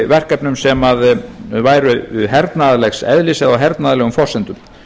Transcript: verkefnum sem væru hernaðarlegs eðlis eða á hernaðarlegum forsendum